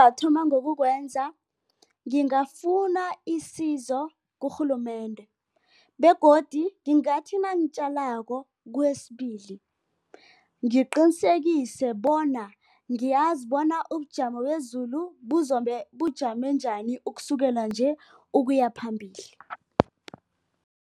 Athoma ngokwenza, ngingafuna isizo kurhulumende, begodu ngingathi nangitjalako kwesibili, ngiqinisekise bona ngiyazibona ubujamo bezulu buzobe bujame njani, ukusukela nje, ukuyaphambili.